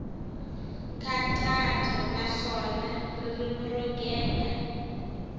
nkhaqato naswona ririmi ro gega